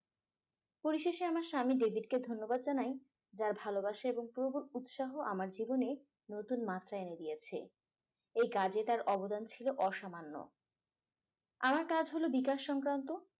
পরিশেষে আমার স্বামী david কে ধন্যবাদ জানাই যার ভালোবাসা এবং প্রবল উৎসাহ আমার জীবনে নতুন মাত্রা এনে দিয়েছে এই কাজে তার অবদান ছিল অসামান্য আমার কাজ হলো বিকাশ সংক্রান্ত